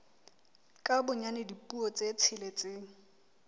ka bonyane dipuo tse tsheletseng